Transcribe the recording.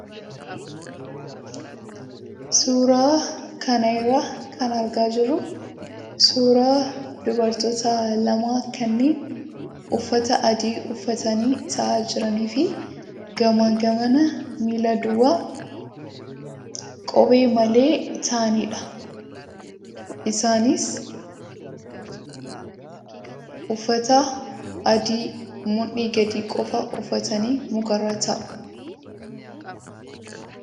Suuraa kana irraa kan argaa jirru suuraa dubartoota lama kanneen uffata adii uffatanii taa'aa jiranii fi gamaa gamana miila duwwaa kophee malee taa'anidha. Isaanis uffata adii mudhii gadii qofaa uffatanii mukarra taa'u.